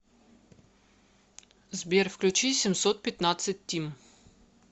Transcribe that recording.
сбер включи семьсот пятнадцать тим